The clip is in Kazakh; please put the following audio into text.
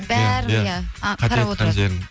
бәрін иә қарап отырады